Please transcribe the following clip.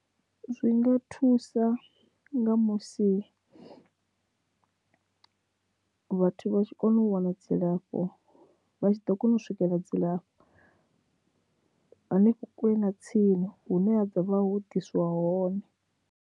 Zwi nga thusa nga musi vhathu vha tshi kona u wana dzilafho vha tshi ḓo kona u swikela dzilafho hanefho kule na tsini hune ha vha ho diswa hone.